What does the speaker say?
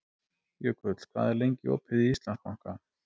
Jökull, hvað er lengi opið í Íslandsbanka?